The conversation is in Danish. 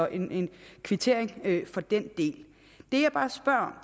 en kvittering for den del det jeg bare spørger